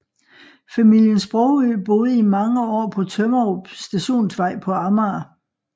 Familien Sprogøe boede i mange år på Tømmerup Stationsvej på Amager